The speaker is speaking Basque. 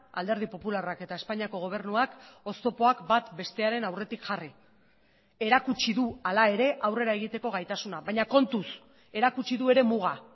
alderdi popularrak eta espainiako gobernuak oztopoak bat bestearen aurretik jarri erakutsi du hala ere aurrera egiteko gaitasuna baina kontuz erakutsi du ere muga